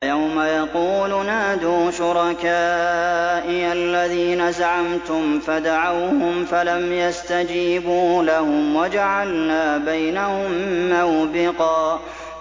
وَيَوْمَ يَقُولُ نَادُوا شُرَكَائِيَ الَّذِينَ زَعَمْتُمْ فَدَعَوْهُمْ فَلَمْ يَسْتَجِيبُوا لَهُمْ وَجَعَلْنَا بَيْنَهُم مَّوْبِقًا